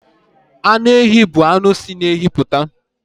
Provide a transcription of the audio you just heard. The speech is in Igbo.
Anụ ehi bụ anụ si na ehi puta